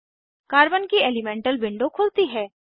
carbon की elemental window खुलती है